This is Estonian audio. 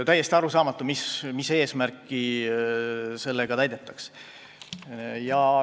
Täiesti arusaamatu, mis eesmärki sellega täidetakse.